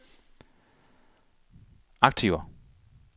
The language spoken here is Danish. aktiver